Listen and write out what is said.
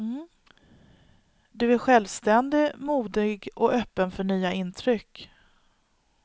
Du är självständig, modig och öppen för nya intryck.